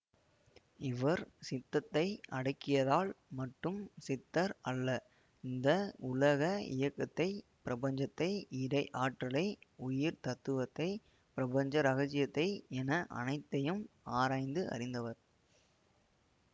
இவர் சித்தத்தை அடக்கியதால் மட்டும் சித்தர் அல்ல இந்த உலக இயக்கத்தை பிரபஞ்சத்தை இறைஆற்றலை உயிர் தத்துவத்தை பிரபஞ்ச ரகசியத்தை என அனைத்தையும் ஆராய்ந்து அறிந்தவர்